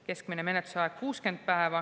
Keskmine menetlusaeg on 60 päeva.